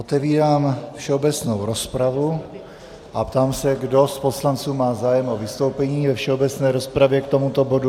Otevírám všeobecnou rozpravu a ptám se, kdo z poslanců má zájem o vystoupení ve všeobecné rozpravě k tomuto bodu.